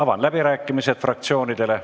Avan läbirääkimised fraktsioonidele.